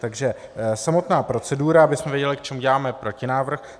Takže samotná procedura, abychom věděli, k čemu děláme protinávrh.